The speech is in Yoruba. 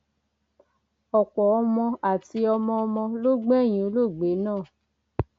ọpọ ọmọ àti ọmọọmọ ló gbẹyìn olóògbé náà